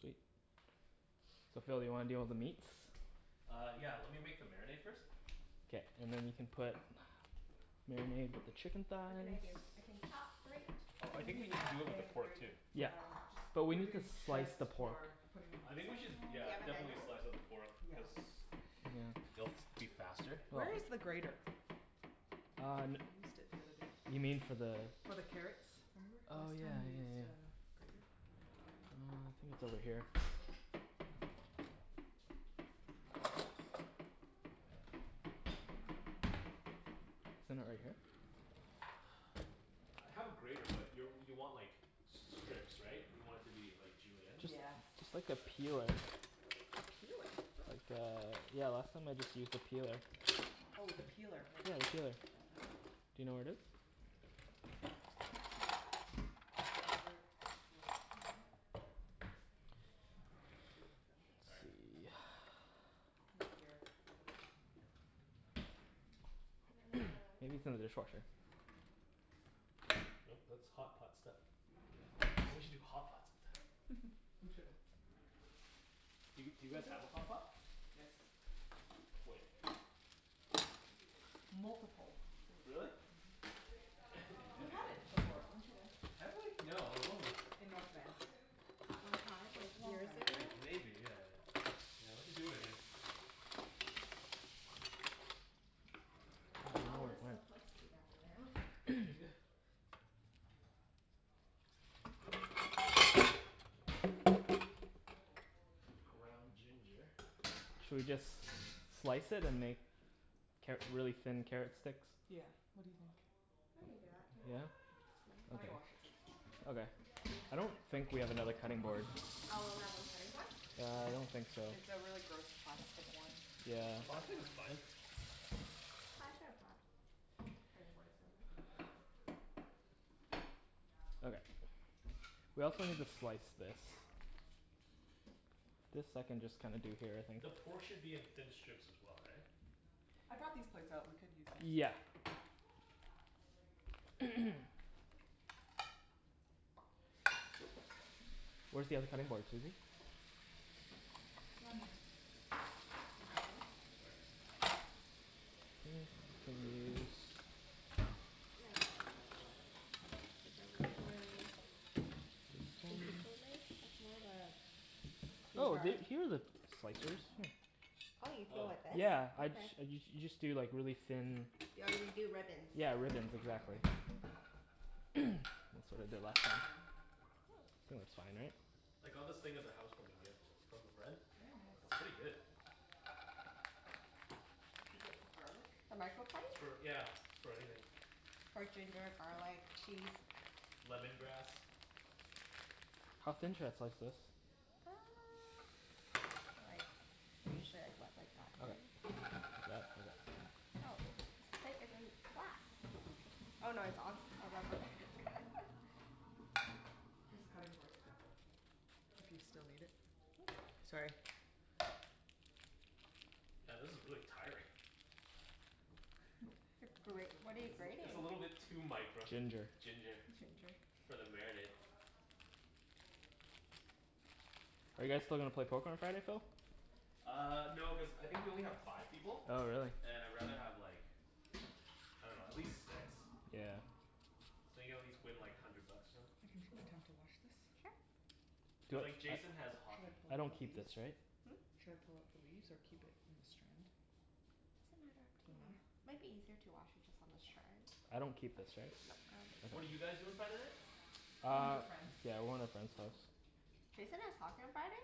Sweet. So Phil do you wanna to deal with the meats? Uh, yeah. Lemme make the marinade first. K. And then we can put marinade with the chicken What can I thighs. do, I can chop, grate. I think we Maybe need chop do like a and pork grate too. Yeah. um just But we are maybe we can doing slice shreds the pork for putting in I the think we salad should bowl. yeah, definitely slice the pork Yes. cuz Hm That's faster. Where is the grater? Um, you mean for the For the carrots? Oh yeah yeah yeah yeah yeah. Um I think it's over here Isn't it right here? I have a grater but you you want like strips right? You want it to be like julienne? Just, Yeah. just like a peeler. A peeler? Cool. Uh, yeah. Often I just used a peeler. Oh the peeler, right. Do you know where it is? Excuse me Phil. Let's Sorry. see. Not here. Maybe it's in the dishwater. No, that's hotpots stuff. We should do hotpot some time. We should. We did. a hotpot? Yes. Multiple. Really? Mhm. We had it before, weren't you there? Have we? No, I wasn't. In North Van. That one time, like Long years time ago. ago? Maybe, yeah. Yeah we should do it again. We all live so close together now. Yeah. What does it look like? What is this? Ground ginger. Should we just slice it and make carrot really thin carrot sticks? Yeah, what do you think? We can do that, too. Yeah? Lemme Okay. wash it first. Oh there. I don't think we have another cutting board. one cutting board? Yeah I don't think so. It's a really gross plastic one. Okay. Yeah. We don't think you Plastic wanna is use fine. it. I could've brought cutting boards over. Okay. We also need to slice this. Yeah. This I can just kinda do it here I think. The pork should be in thin strips as well, right? I bought these plates so we could use this. Yeah. Where's the other cutting board, Susie? Excuse me Phil Sorry. uh, it's more of like Oh! There Here's the slicers, hm. Oh you peel Oh. with this? Yeah I just you just do like really thin. Yeah you do ribbons. Yeah, ribbons exactly. That's what I That's did the last proper time. term. Oh, it's fine, right? I got this thing as a house warming gift from a friend. Very nice It's pretty good. Is that for garlic? The It's microplate? for yeah, for everything. For ginger, garlic, cheese. Lemongrass. How thin should I slice this? Uh, like we should like that, Okay. right? Like that? Oh. Here's the cutting board, if you still need it. Sorry. Yeah this is really tiring. We could switch what are you It's over. a grating? little bit too micro Ginger. ginger. Ginger For the marinade. Are you guys still gonna play Poker on Friday, Phil? Uh, no cuz I think we only have five people. Oh really. And I rather have like, I dunno, at least six. Yeah. So play like hundred bucks or something. We can to wash this? Sure. Cuz like Jason has Should I hockey. pull I out the don't keep leaves? this right? Hm? Should I pull out the leaves or keep it in a strand? Doesn't matter. Up to Doesn't matter? you. Might be easier to wash it just on the strand. I don't keep this right? What did you guys do on Saturday? Went to Uh, a friends. yeah we were at friends house. Jason has hockey on Friday?